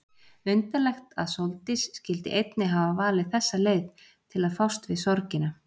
Undarlegt að Sóldís skyldi einnig hafa valið þessa leið til að fást við sorgina.